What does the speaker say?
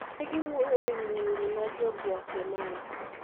Ne giwuoyo e wi nyiri ma Jo-Guatemala.